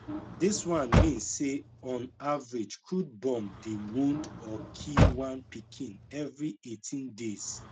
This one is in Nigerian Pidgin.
dis one mean say on average crude bomb dey wound or kill one pikin every 18 days